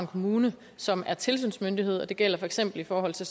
kommune som er tilsynsmyndighed og det gælder for eksempel i forhold til